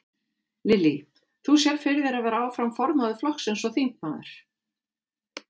Lillý: Þú sérð fyrir þér að vera áfram formaður flokksins og þingmaður?